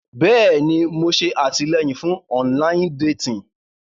Bẹ́ẹ̀ni, Mo ṣe atilẹyin fun ọnlayin detin.